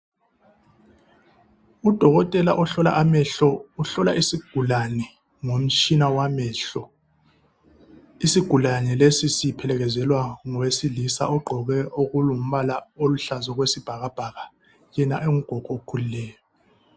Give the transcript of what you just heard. Udokotela ohlola amehlo, uhlola isigulane ngomtshina wamehlo isigulane lesi siphekezelwa ngowesilisa ogqoke okulombala oluhlaza okwesibhakabhaka yena engugogo okhulileyo.